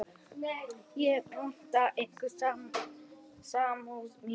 Ég votta ykkur samúð mína.